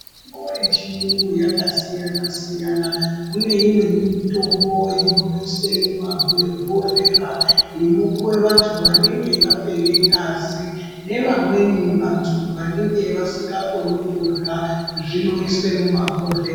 ...mbo yechiyungu yakasiyana-siyana. Kune imweni mutombo inoiswe mumabhohlera inopuwe vantu vanenge vapere ngazi. Nevamweni vantu vanenge vasikakoni kurya, zvinoiswe mumabhohle...